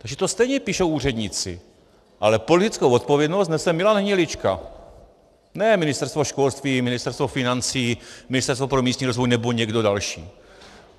Takže to stejně píšou úředníci, ale politickou odpovědnost nese Milan Hnilička, ne Ministerstvo školství, Ministerstvo financí, Ministerstvo pro místní rozvoj nebo někdo další.